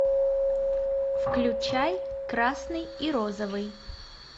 включай красный и розовый